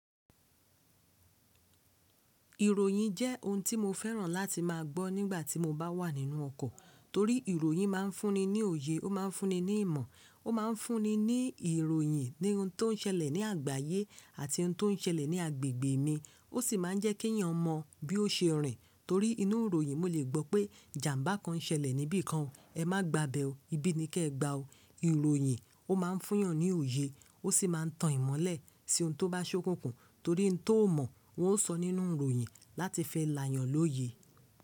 Ìròyìn jẹ́ ohun tí mo fẹ́ràn láti má a gbọ́ nígbà tí mo bá wà nínú ọkọ̀. Torí ìròyìn má a ń fúnni ní òye, ó má ń fúnni ní ìmọ̀, ó má ń fúnni ní ìròyìn ní ohun tó ń ṣẹlẹ̀ ní àgbáyé àti ohun tó ń ṣẹlẹ̀ ní agbègbè mi. Ó sì má a ń jẹ́ kí èeyàn mọ bí ó ṣe rìn. Torí inú ìròyìn mo lè gbọ́ pé ijàmbá kan ṣẹlẹ̀ níbì kan, ẹ má gba ibẹ́ ọ, ibí ni kí ẹ gba o. Ìròyìn ó má ń fún yan ní òye, ó sì má a ń tan ìmọ̀lẹ̀ sí ohun tó bá ṣokùnkùn torí ohun tó mọ̀ wọ́n ó sọ nínú ìròyìn láti fi layàn lóye.